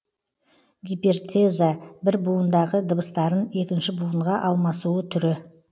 гипертеза бір буындағы дыбыстарын екінші буынға алмасуы түрі